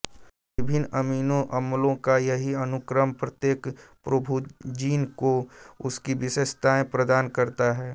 विभिन्न अमीनो अम्लों का यही अनुक्रम प्रत्येक प्रोभूजिन को उसकी विशेषताएं प्रदान करता है